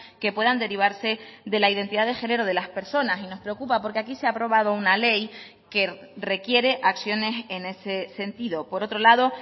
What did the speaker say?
que puedan derivarse de la identidad de género de las personas y nos preocupa porque aquí se ha aprobado una ley que requiere acciones en ese sentido por otro lado